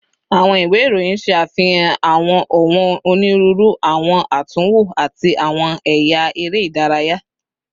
Awọn iwe iroyin ṣe afihan awọn ọwọn oniruuru, awọn atunwo, ati awọn ẹya ere idaraya